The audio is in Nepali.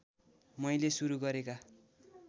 मैले सुरू गरेका